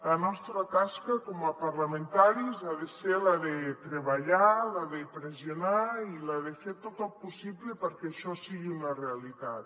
la nostra tasca com a parlamentaris ha de ser la de treballar la de pressionar i la de fer tot el possible perquè això sigui una realitat